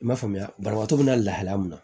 I m'a faamuya banabaatɔ bɛna lahala min na